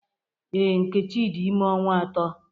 Ee, Nkechi dị ime ọnwa ato